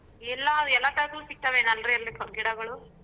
ಎಲ್ಲಾ ಗಿಡಗಳು.